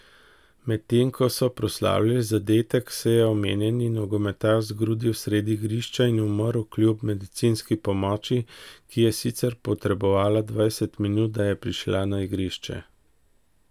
Medtem ko so proslavljali zadetek, se je omenjeni nogometaš zgrudil sredi igrišča in umrl kljub medicinski pomoči, ki je sicer potrebovala dvajset minut, da je prišla na igrišče.